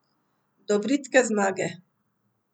Do bridke zmage.